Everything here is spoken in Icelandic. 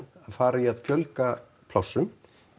fara í að fjölga plássum